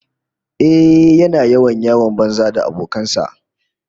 Ehh, yana yawan yawon banza da abokan sa